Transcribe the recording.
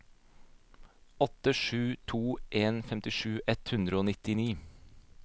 åtte sju to en femtisju ett hundre og nittini